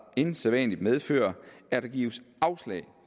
end sædvanlig medføre at der gives afslag